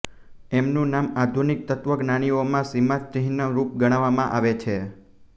એમનું નામ આધુનિક તત્ત્વજ્ઞાનીઓમાં સીમાચિહ્નરૂપ ગણવામાં આવે છે